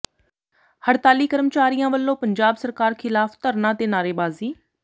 ਹੜਤਾਲੀ ਕਰਮਚਾਰੀਆਂ ਵੱਲੋਂ ਪੰਜਾਬ ਸਰਕਾਰ ਖ਼ਿਲਾਫ਼ ਧਰਨਾ ਤੇ ਨਾਅਰੇਬਾਜ਼ੀ